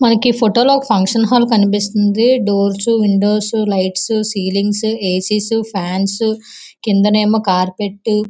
మనకి ఈ ఫోటో లో ఒక ఫంక్షన్ హాల్ కనిపిస్తుంది doors windows lights ceilings AC fans కిందనేమో కార్పెట్ --